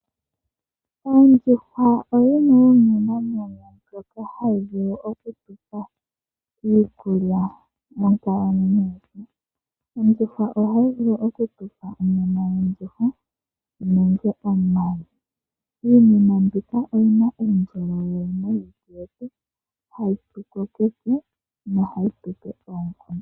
Ondjuhwa yimwe yomiinamwenyo mbyoka hayi vulu oku tu pa iikulya monkalamwenyo. Ondjuhwa ohayi vulu oku tu pa onyama nenge omayi. Iinima mbika oyi na uundjolowele momalutu getu, hayi tu kokeke nohayi tu pe oonkondo.